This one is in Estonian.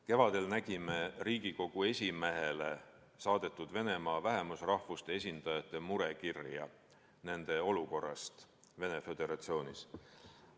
Kevadel nägime Riigikogu esimehele saadetud Venemaa vähemusrahvuste esindajate murekirja nende olukorra kohta Venemaa Föderatsioonis.